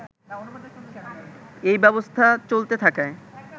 এই ব্যবস্থা চলতে থাকায়